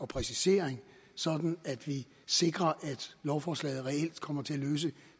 præcisering sådan at vi sikrer at lovforslaget reelt kommer til at løse